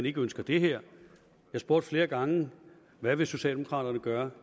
ikke ønsker det her jeg spurgte flere gange hvad vil socialdemokraterne gøre